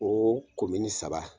O saba.